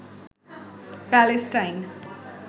Palestine